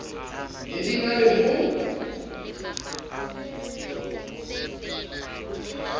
ne di na le ho